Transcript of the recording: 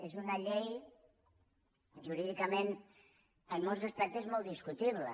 és una llei jurídicament en molts aspectes molt discutible